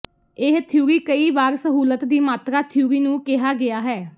ਇਹ ਥਿਊਰੀ ਕਈ ਵਾਰ ਸਹੂਲਤ ਦੀ ਮਾਤਰਾ ਥਿਊਰੀ ਨੂੰ ਕਿਹਾ ਗਿਆ ਹੈ